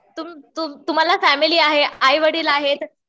तुम्हाला फॅमिली आहे. आईवडील आहेत.